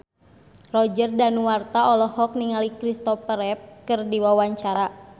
Roger Danuarta olohok ningali Kristopher Reeve keur diwawancara